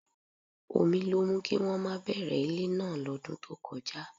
Omi ló mú kí wọ́n má bẹ̀rẹ̀ ilé náà lọ́dún tó kọjá